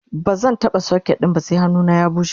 bazan taɓa socket ɗin ba sai hannuna ya bushe